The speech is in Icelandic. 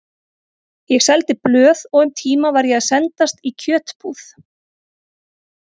Ég seldi blöð og um tíma var ég að sendast í kjötbúð.